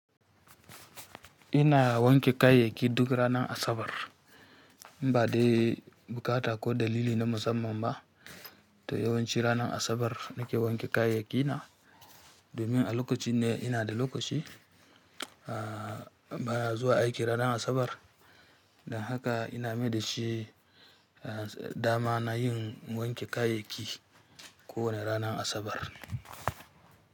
Ina wanke kayayyaki duk ranar Asabar. Ba dai buƙata ko dalili na musamman ba, to yawanci ranar Asabar nake wanke kayayyaki na domin a lokacin ne ina da lokaci ba zuwa aiki ranar Asabar. Don haka ina mai dashi dama na yin wanke kayayyaki kowane ranar Asabar.